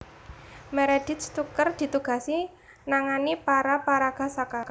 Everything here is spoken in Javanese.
Meredith Tucker ditugasi nangani para paraga saka